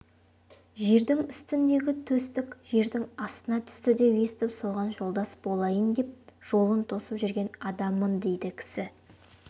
жердің үстіндегі төстік жердің астына түсті деп естіп соған жолдас болайын деп жолын тосып жүрген адаммын дейді кісі